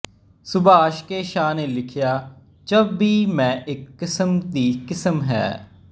Subhash K Jha ਨੇ ਲਿਖਿਆ ਜਬ ਵੀ ਮੈਂ ਇੱਕ ਕਿਸਮ ਦੀ ਕਿਸਮ ਹੈ